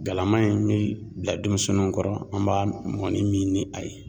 Galama in bɛ bila denmisɛnninw kɔrɔ , an b'a mɔnni min ni a ye.